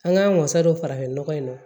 An k'an wasa don farafinnɔgɔ in na